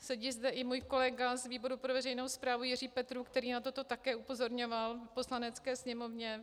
Sedí zde i můj kolega z výboru pro veřejnou správu Jiří Petrů, který na toto také upozorňoval v Poslanecké sněmovně.